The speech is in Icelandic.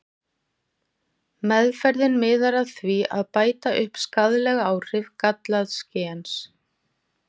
Meðferðin miðar að því að bæta upp skaðleg áhrif gallaðs gens.